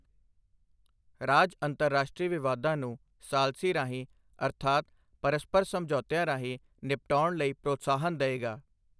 ਰਾਜ ਅੰਤਰਰਾਸ਼ਟਰੀ ਵਿਵਾਦਾਂ ਨੂੰ ਸਾਲਸੀ ਰਾਹੀਂ ਅਰਥਾਤ ਪਰਸਪਰ ਸਮਝੌਤਿਆਂ ਰਾਹੀਂ ਨਿਪਟਾਉਣ ਲਈ ਪ੍ਰੋਤਸਾਹਨ ਦਏਗਾ।